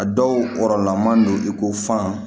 A dɔw kɔrɔla man don i ko fan